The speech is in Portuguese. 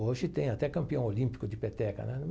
Hoje tem até campeão olímpico de peteca, né?